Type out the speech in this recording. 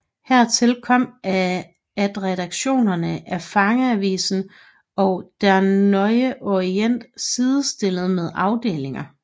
Hertil kom at redaktionerne af fangeavisen og Der Neue Orient sidestillet med afdelinger